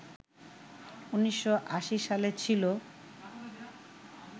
১৯৮০ সালে ছিল